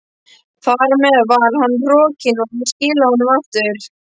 Þar með var hann rokinn, og ég skilaði honum aftur.